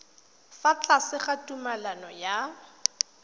fa tlase ga tumalano ya